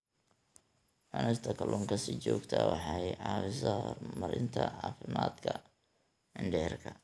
Cunista kalluunka si joogto ah waxay caawisaa horumarinta caafimaadka mindhicirka.